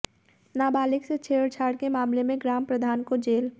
नाबालिग से छेड़छाड़ के मामले में ग्राम प्रधान को जेल